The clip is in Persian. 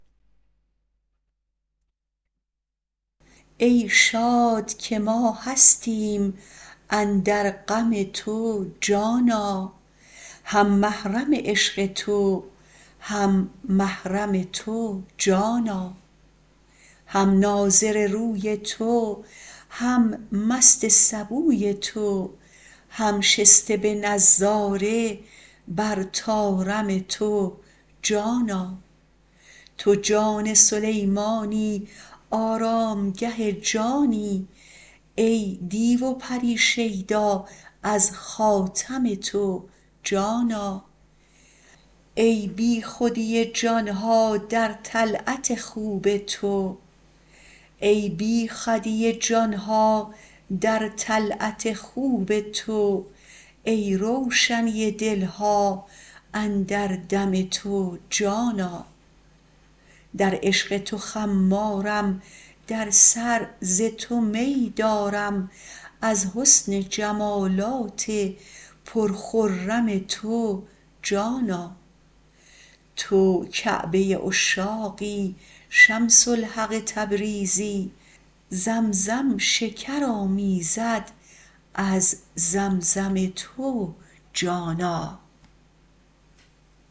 ای شاد که ما هستیم اندر غم تو جانا هم محرم عشق تو هم محرم تو جانا هم ناظر روی تو هم مست سبوی تو هم شسته به نظاره بر طارم تو جانا تو جان سلیمانی آرامگه جانی ای دیو و پری شیدا از خاتم تو جانا ای بیخودی جان ها در طلعت خوب تو ای روشنی دل ها اندر دم تو جانا در عشق تو خمارم در سر ز تو می دارم از حسن جمالات پرخرم تو جانا تو کعبه عشاقی شمس الحق تبریزی زمزم شکر آمیزد از زمزم تو جانا